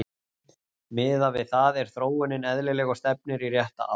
Miðað við það er þróunin eðlileg og stefnir í rétta átt.